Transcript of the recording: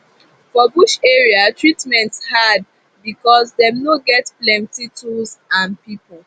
for bush area treatment hard becos dem no get plenti tools and pipu